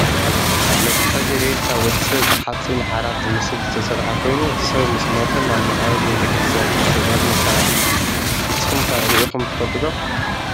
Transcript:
መትሓዚ ሬሳ ወዲ ሰብ ብሓፂን ዓራት ዝመስል ዝተሰረሓ ኮይኑ፣ ሰብ ምስ ሞተ ናብ መቃብር ቤተ-ክርስትያን ዝውሰደሉ መሳሪሒ እዩ። ንስኩም ከ ሪኢኩም ትፈልጡ'ዶ?